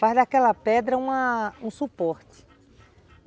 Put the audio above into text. Faz daquela pedra uma um suporte.